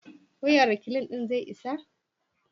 wayan reklin din zai isa?